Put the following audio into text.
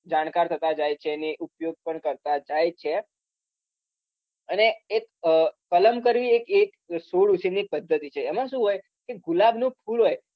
જાણકાર થતા જાય છે ને ઉપયોગ પણ કરતા જાય જ છે અને એક અમ કલમ કરવી એક એક છોડ ઉછેરની એક પધ્ધતિ છે એમાં શું હોય કે ગુલાબનું ફૂલ હોય